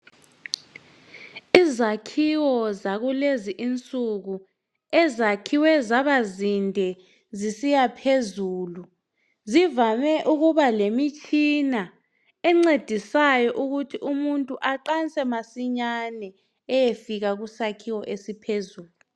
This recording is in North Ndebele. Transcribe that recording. Izakhiwo zakulezi insuku ezakhiwe zaba zinde zisiya phezulu, zivame ukuba lemitshina encedisayo ukuthi umuntu aqanse masinyane eyefika kusakhiwo esiphezulu.